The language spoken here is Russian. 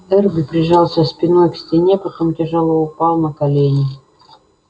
эрби прижался спиной к стене потом тяжело упал на колени